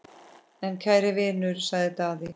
En kæri vinur, sagði Daði.